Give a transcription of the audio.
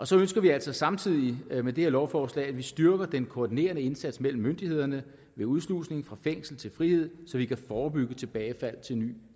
så ønsker vi altså samtidig med dette lovforslag at styrke den koordinerende indsats mellem myndighederne ved udslusning fra fængsel til frihed så vi kan forebygge tilbagefald til ny